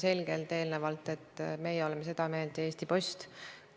Selline süvariigi peategelane, nagu prokuratuur teie erakonna mütoloogias on olnud, on nüüd pälvinud usalduse!